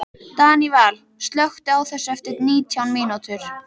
Daníval, slökktu á þessu eftir nítján mínútur.